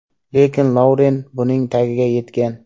Lekin Louren buning tagiga yetgan.